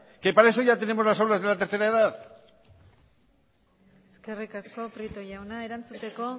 que para eso ya tenemos las obras de la tercera edad eskerrik asko prieto jauna erantzuteko